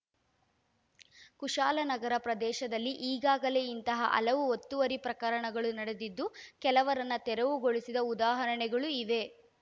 ಕುಶಾಲನಗರ ಪ್ರದೇಶದಲ್ಲಿ ಈಗಾಗಲೇ ಇಂತಹ ಹಲವು ಒತ್ತುವರಿ ಪ್ರಕರಣಗಳು ನಡೆದಿದ್ದು ಕೆಲವರನ್ನ ತೆರವುಗೊಳಿಸಿದ ಉದಾಹರಣೆಗಳೂ ಇವೆ